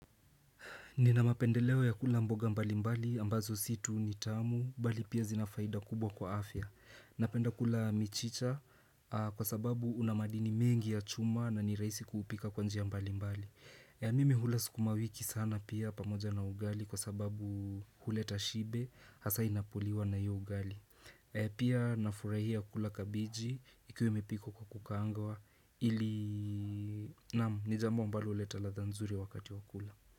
Nina mapendeleo ya kula mboga mbalimbali ambazo si tu ni tamu bali pia zina faida kubwa kwa afya. Napenda kula michicha kwa sababu una madini mengi ya chuma na ni rahisi kuupika kwa njia mbalimbali. Mimi hula sukuma wiki sana pia pamoja na ugali kwa sababu huleta shibe hasa inapoliwa na hiyo ugali. Pia nafurahia kula kabiji ikiwa imepikwa kwa kukaangawa ili naam ni jambo ambalo huleta ladha nzuri wakati wa kula.